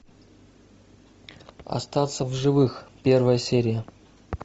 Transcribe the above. остаться в живых первая серия